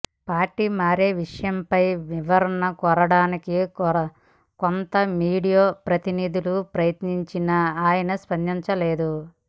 party మారే విషయంపై వివరణ కోరడానికి కొంత మీడియా ప్రతినిధులు ప్రయత్నించినా ఆయన స్పందించలేదు